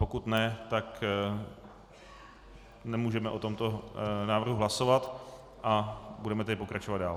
Pokud ne, tak nemůžeme o tomto návrhu hlasovat, a budeme tedy pokračovat dál.